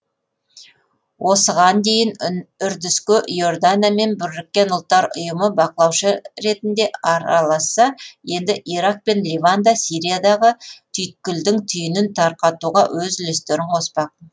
осыған дейін үрдіске иордания мен біріккен ұлттар ұйымы бақылаушы ретінде араласса енді ирак пен ливан да сириядағы түйткілдің түйінін тарқатуға өз үлестерін қоспақ